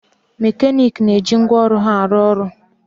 Mekaniiki na-eje ngwaọrụ ha arụ ọrụ